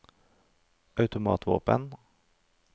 automatvåpen